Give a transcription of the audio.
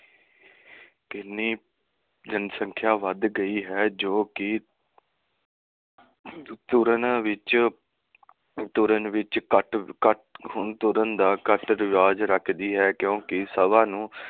ਕਿੰਨੀ ਜਨਸੰਖਿਆ ਵੱਧ ਗਈ ਹੈ ਜੋ ਕਿ ਤੁਰਨ ਵਿਚ ਤੁਰਨ ਵਿਚ ਘਟ ਘਟ ਹੁਣ ਤੁਰਨ ਦਾ ਘਟ ਰਿਵਾਜ਼ ਰੱਖਦੀ ਹੈ ਕਿਉਕਿ ਸੁਬਹ ਨੂੰ